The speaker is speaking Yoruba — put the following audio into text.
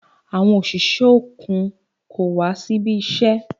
Àwọn òṣìṣẹ́ òkun kò wá síbi iṣẹ́.